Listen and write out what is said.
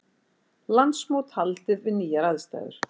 Landsmót haldið við nýjar aðstæður